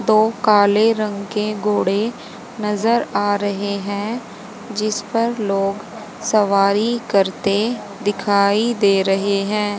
दो काले रंग के घोड़े नजर आ रहे हैं जिस पर लोग सवारी करते दिखाई दे रहे हैं।